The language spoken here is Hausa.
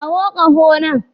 Kawo ƙaho nan.